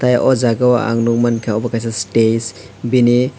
eh oh jagao ang nukmankha obo kaisa stage bini.